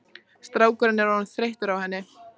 Strákurinn er orðinn þreyttur á henni.